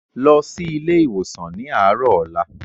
Lọ sí ilé ìwòsàn ni arọ ọ̀la!